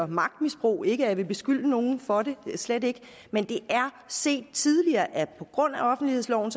magtmisbrug ikke at jeg vil beskylde nogen for det slet ikke men det er set tidligere at på grund af offentlighedsloven